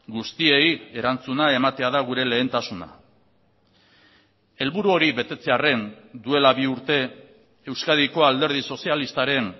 guztiei erantzuna ematea da gure lehentasuna helburu hori betetzearren duela bi urte euskadiko alderdi sozialistaren